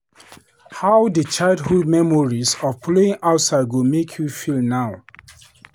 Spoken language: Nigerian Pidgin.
How di childhood memories of playing outside go make you feel now?